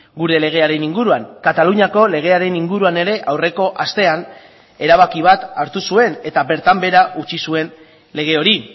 gure legearen inguruan kataluniako legearen inguruan ere aurreko astean erabaki bat hartu zuen eta bertan behera utzi zuen lege hori